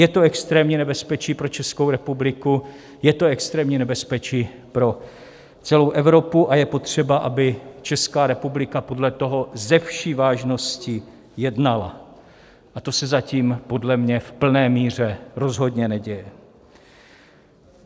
Je to extrémní nebezpečí pro Českou republiku, je to extrémní nebezpečí pro celou Evropu a je potřeba, aby Česká republika podle toho se vší vážností jednala, a to se zatím podle mě v plné míře rozhodně neděje.